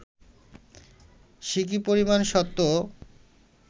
সিকি পরিমাণ সত্যও